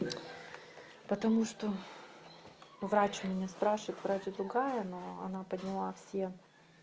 потому что врач у меня спрашивает врач другая но она подняла все